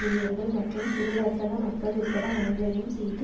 ஊழியர்கள் மற்றும் சிறுவர்த்தக மக்கள் உட்பட அனைவரையும் சேர்த்து